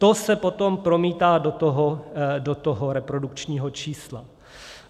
To se potom promítá do toho reprodukčního čísla.